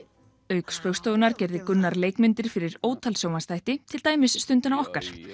auk Spaugstofunnar gerði Gunnar leikmyndir fyrir ótal sjónvarpsþætti til dæmis stundina okkar